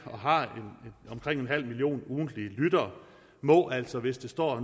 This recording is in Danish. og har omkring en halv million ugentlige lyttere må altså hvis det står